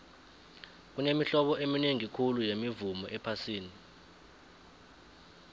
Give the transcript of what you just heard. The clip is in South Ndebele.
kunemihlobo eminingi khulu yemivumo ephasini